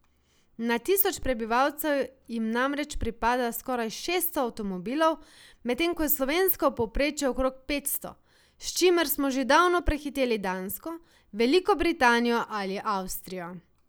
Na tisoč prebivalcev jim namreč pripada skoraj šeststo avtomobilov, medtem ko je slovensko povprečje okrog petsto, s čimer smo že davno prehiteli Dansko, Veliko Britanijo ali Avstrijo.